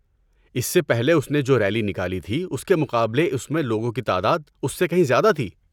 اس سے پہلے اس نے جو ریلی نکالی تھی اس کے مقابلے اس میں لوگوں کی تعداد اس سے کہیں زیادہ تھی۔